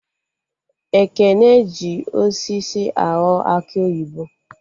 Ekene hi osisi aghọ akị oyibo